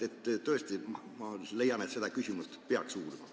Ma tõesti leian, et seda küsimust peaks uurima.